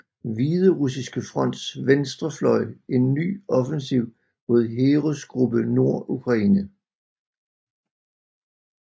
Hviderussiske fronts venstre fløj en ny offensiv mod Heeresgruppe Nord Ukraine